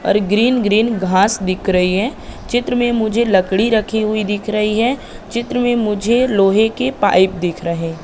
और green green घास दिख रही है चित्र में मुझे लकड़ी रखी हुई दिख रही है चित्र में मुझे लोहे के पाइप दिख रहे--